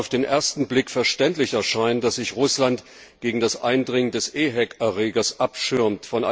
Es mag auf den ersten Blick verständlich erscheinen, dass sich Russland gegen das Eindringen des EHEC Erregers abschirmt.